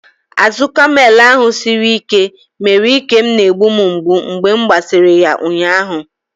Azụ kamel ahụ siri ike mere ike m na-egbu m mgbu mgbe m gbasịrị ya ụnyaahụ.